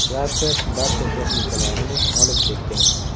Klaster barcha texnikalarini olib ketgan.